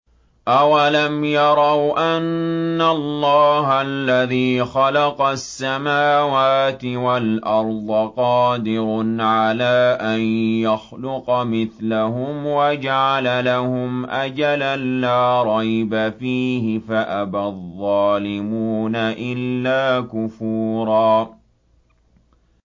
۞ أَوَلَمْ يَرَوْا أَنَّ اللَّهَ الَّذِي خَلَقَ السَّمَاوَاتِ وَالْأَرْضَ قَادِرٌ عَلَىٰ أَن يَخْلُقَ مِثْلَهُمْ وَجَعَلَ لَهُمْ أَجَلًا لَّا رَيْبَ فِيهِ فَأَبَى الظَّالِمُونَ إِلَّا كُفُورًا